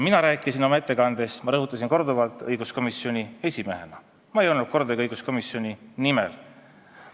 Mina tegin oma ettekande – ma rõhutasin seda korduvalt – õiguskomisjoni esimehena, ma ei öelnud kordagi, et ma räägin õiguskomisjoni nimel.